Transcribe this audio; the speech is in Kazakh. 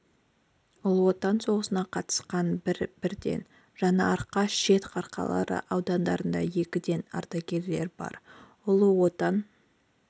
ұлы отан соғысына қатысқан бір бірден жаңаарқа шет қарқаралы аудандарында екіден ардагерлер бар ұлы отан